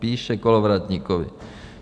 Píše Kolovratníkovi.